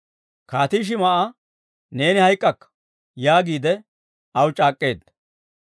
Kaatii Shim"a, «Neeni hayk'k'akka» yaagiide aw c'aak'k'eedda.